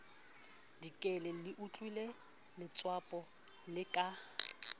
dikele leotlile letswapo le ka